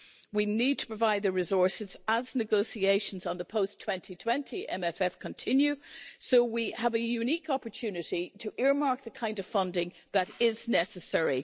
We need to provide the resources as negotiations on the post 2020 MF continue, so we have a unique opportunity to earmark the kind of funding that is necessary.